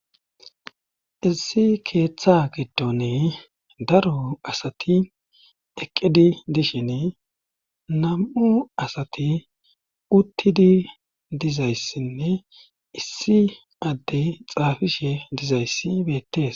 issi keeththa giddone daro asati eqqidi dishine nam7u asati uttidi dizayssinne issi addey xaafishe dizayssi beettees